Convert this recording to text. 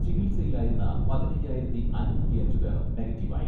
ചികിത്സയിലായിരുന്ന പതിനയ്യായിരത്തി അഞ്ഞൂറ്റിയഞ്ച് പേർ നെഗറ്റീവായി.